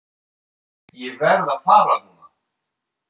Ég verð að fara núna!